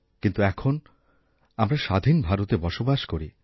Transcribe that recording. কিন্তু এখন আমরা স্বাধীন ভারতে বসবাস করি